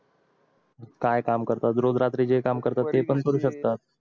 काय काम करतात रोज रात्री जे काम करतात ते पण करू शकतात